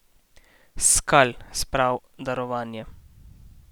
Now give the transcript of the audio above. S skal spral darovanje.